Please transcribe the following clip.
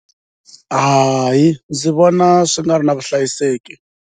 Hayi ndzi vona swi nga ri na vuhlayiseki.